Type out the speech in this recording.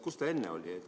Kus see enne oli?